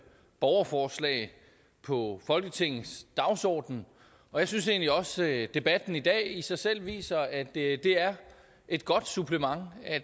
borgerforslag på folketingets dagsorden og jeg synes egentlig også at debatten i dag i sig selv viser at det det er et godt supplement at